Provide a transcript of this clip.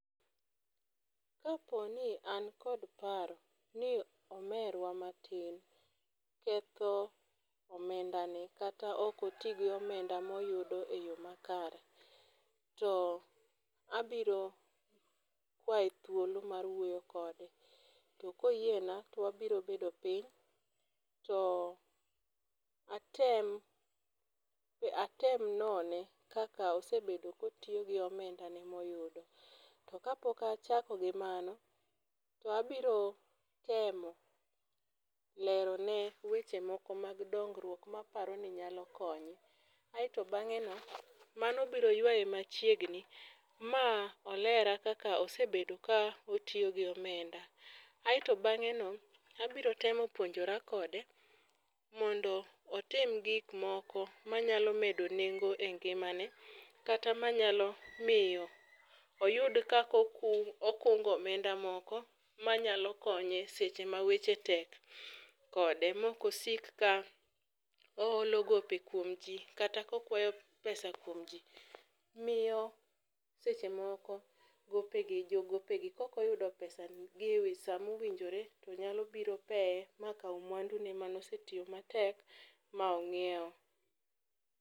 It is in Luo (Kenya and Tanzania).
Kaponi an kod paro ni omerwa matin ketho omendane kata okotigo omenda moyudo e yo makare, to abiro kwaye thuolo mar wuoyo kode to koyiena to wabiro bedo piny to atem none kaka osebedo kotiyo gi omendane moyudo to kapok achako gi mano to abiro temo lerone weche moko mag dongruok maparo ni nyalo konye, aeto bang'eno mano biro ywaye machiegni ma olera kaka osebedo ka otiyo gi omenda aeto bang'eno abiro temo puonjora kode mondo otim gikmoko manyalo medo nengo e ngimane kata manyalo miyo oyud kaka okungo omenda moko manyalo konye seche ma weche tek kode mokosik ka oholo gope kuom ji kata kokwayo pesa kuom ji miyo seche moko jogopegi kokoyudo pesagi e wi sa ma owinjore tonyalo biro peye makaw mwandune manosetiyo matek ma ong'iewo.